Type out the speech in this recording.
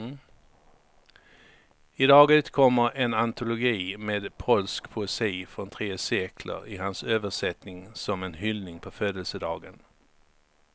I dag utkommer en antologi med polsk poesi från tre sekler i hans översättning som en hyllning på födelsedagen.